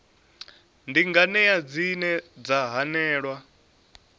ndi nganea dzine dza hanelelwa